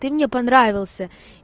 ты мне понравился